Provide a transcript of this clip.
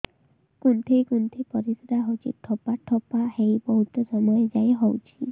କୁନ୍ଥେଇ କୁନ୍ଥେଇ ପରିଶ୍ରା ହଉଛି ଠୋପା ଠୋପା ହେଇ ବହୁତ ସମୟ ଯାଏ ହଉଛି